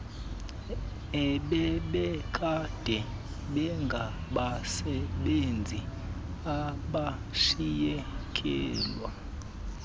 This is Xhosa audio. ebebekade bengabasebenzi abashiyekelwe